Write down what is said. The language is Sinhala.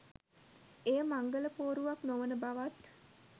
එය මංගල පෝරුවක් නොවන බවත්